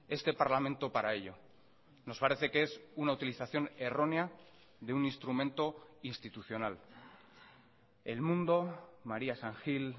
este parlamento para ello nos parece que es una utilización errónea de un instrumento institucional el mundo maría san gil